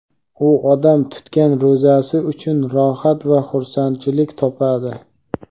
u odam tutgan ro‘zasi uchun rohat va xursandchilik topadi.